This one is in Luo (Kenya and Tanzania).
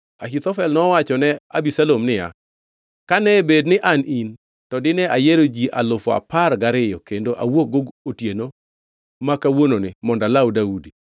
Ahithofel nowachone Abisalom niya, “Kane bed ni an in, to dine ayiero ji alufu apar gariyo kendo awuokgo otieno ma kawuononi mondo alaw Daudi;